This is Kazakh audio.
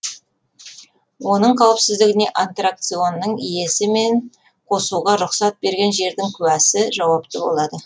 оның қауіпсіздігіне аттракционның иесі мен қосуға рұқсат берген жердің куәсі жауапты болады